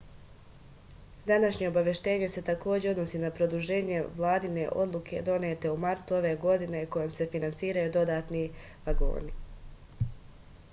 današnje obaveštenje se takođe odnosi na produženje vladine odluke donete u martu ove godine kojom se finansiraju dodatni vagoni